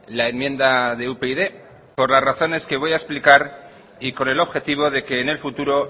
la enmienda de upyd por las razones que voy a explicar y con el objetivo de que en el futuro